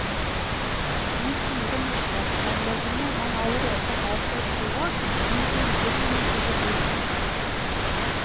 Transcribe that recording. De fire mottaksanleggene man allerede har for kloakk, blir imidlertid lite brukt.